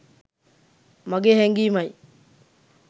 මගේ හැගීමයි